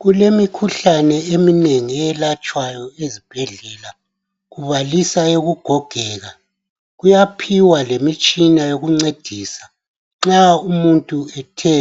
Kulemikhuhlane eminengi eyelatshwayo ezibhedlela kubaliswa eyokugogeka kuyaphiwa lemitshina yokuncedisa nxa umuntu ethe